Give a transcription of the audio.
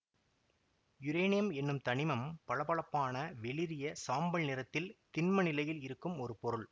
uranium என்னும் தனிமம் பளபளப்பான வெளிறிய சாம்பல் நிறத்தில் திண்ம நிலையில் இருக்கும் ஒரு பொருள்